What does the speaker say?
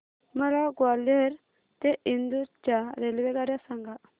मला ग्वाल्हेर ते इंदूर च्या रेल्वेगाड्या सांगा